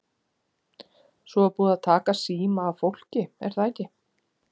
Svo er búið að taka síma af fólki er það ekki?